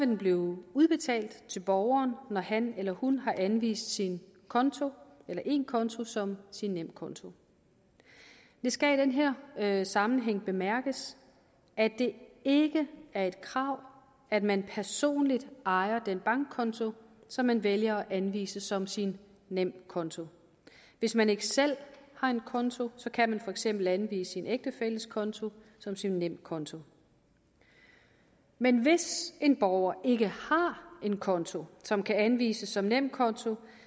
den blive udbetalt til borgeren når han eller hun har anvist en konto en konto som sin nemkonto det skal i den her her sammenhæng bemærkes at det ikke er et krav at man personligt ejer den bankkonto som man vælger at anvise som sin nemkonto hvis man ikke selv har en konto kan man for eksempel anvise sin ægtefælles konto som sin nemkonto men hvis en borger ikke har en konto som kan anvises som nemkonto